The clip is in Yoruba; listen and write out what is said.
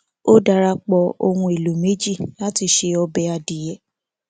ó darapọ ohùn èlò méjì lati ṣe ọbẹ adìyẹ